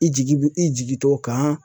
I jigi bi i jigi t'o kan.